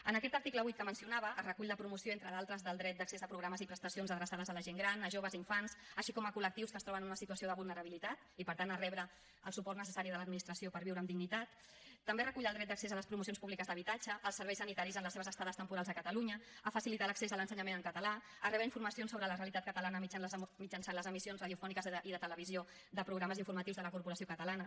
en aquest article vuit que mencionava es recull la promoció entre d’altres del dret d’accés de programes i prestacions adreçades a la gent gran a joves i infants així com a col·lectius que es troben en una situació de vulnerabilitat i per tant a rebre el suport necessari de l’administració per viure amb dignitat també recull el dret d’accés a les promocions públiques d’habitatge als serveis sanitaris en les seves estades temporals a catalunya a facilitar l’accés a l’ensenyament en català a rebre informacions sobre la realitat catalana mitjançant les emissions radiofòniques i de televisió de programes informatius de la corporació catalana